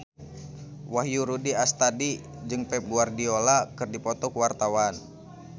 Wahyu Rudi Astadi jeung Pep Guardiola keur dipoto ku wartawan